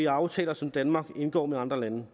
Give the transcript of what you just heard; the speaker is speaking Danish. aftaler som danmark indgår med andre lande